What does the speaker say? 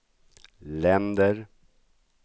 länder